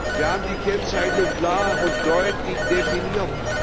Wir haben die Kennzeichnung klar und deutlich definiert.